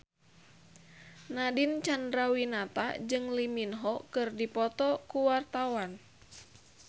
Nadine Chandrawinata jeung Lee Min Ho keur dipoto ku wartawan